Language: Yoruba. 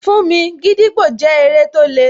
Fún mi, gídígbò jẹ́ eré tó le